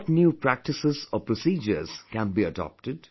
What new practices or procedures can be adopted